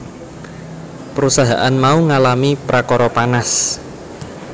Perusahaan mau ngalami prakara panas